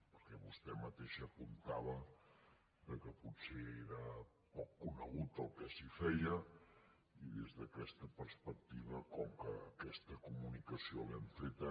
perquè vostè mateixa apuntava que potser era poc conegut el que s’hi feia i des d’aquesta perspectiva com que aquesta comunicació l’hem feta